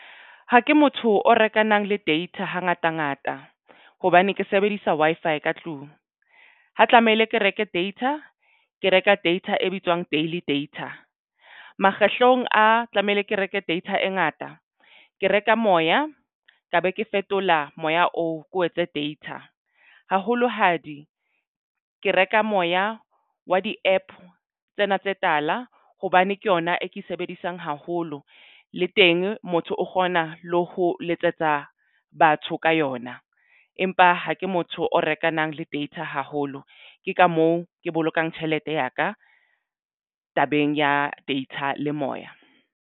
Ha ke motho o rekana le data ha ngata ngata hobane ke sebedisa Wi-Fi ka tlung. Ho tlamehile ke reke data ke reka data e bitswang daily data makgetlong a tlamehile ke reke data e ngata ke reka moya ka be ke fetola moya oo ko o etse data haholo hadi ke reka moya wa di-APP tsena tse tala hobane ke yona e ke e sebedisang haholo le teng motho o kgona le ho letsetsa batho ka yona, empa ha ke motho o rekana le data haholo ke ka moo ke bolokang tjhelete ya ka tabeng ya data le moya.